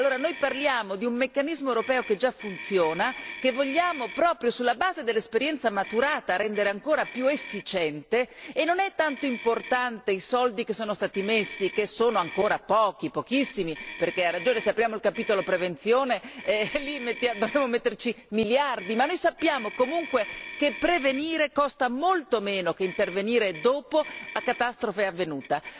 Allora, noi parliamo di un meccanismo europeo che già funziona, che vogliamo, proprio sulla base dell'esperienza maturata, rendere ancora più efficiente e non è tanto importante i soldi che sono stati messi che sono ancora pochi, pochissimi, perché se apriamo il capitolo prevenzione, lì dobbiamo metterci miliardi ma noi sappiamo comunque che prevenire costa molto meno che intervenire dopo, a catastrofe avvenuta.